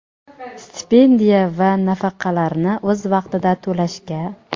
stipendiya va nafaqalarni o‘z vaqtida to‘lashga;.